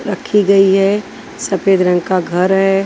रखी गई है सफेद रंग का घर है।